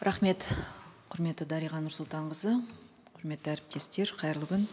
рахмет құрметті дариға нұрсұлтанқызы құрметті әріптестер қайырлы күн